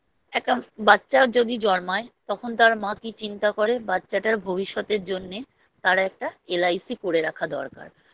একটা বাচ্চাও যদি জন্মায় তখন তার মা কি চিন্তা করে বাচ্চাটার ভবিষ্যতের জন্যে তার একটা LIC করে রাখা দরকার